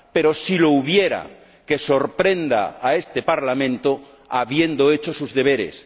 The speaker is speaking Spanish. Pero, si lo hubiera, que sorprenda a este Parlamento habiendo hecho sus deberes.